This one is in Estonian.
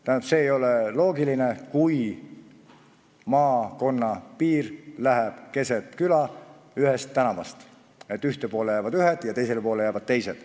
Tähendab, see ei ole loogiline, kui maakonna piir läheb keset küla ühelt tänavalt, nii et ühele poole jäävad ühed ja teisele poole teised.